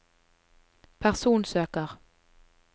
personsøker